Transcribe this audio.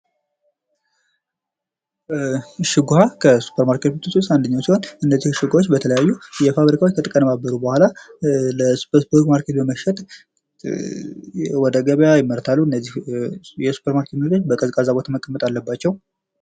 እሽግ ዉሃ ከሱፐር ማርኬት ምሮች ዉስጥ አንዱ ሲሆን እነዚህ እሽግ ዉሃዎች በተለያዩ የዉሃ ፋብሪካዎች ከተቀነባበሩ በኋላ በሱፐር ማርኬት በመሸጥ ወደ ገበያ ይመረታሉ። እነዚህ የሱፐር ማርኬት ምርቶች በቀዝቃዛ ቦታዎች መቀመጥ አለባቸው።